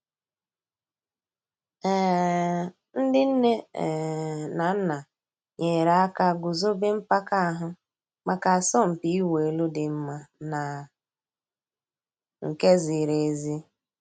um Ǹdí nnè um nà nnà nyèrè àkà gùzòbè mpàka àhụ̀ mǎká àsọ̀mpị̀ ị̀wụ̀ èlù dì́ mma nà nke zìrì èzí.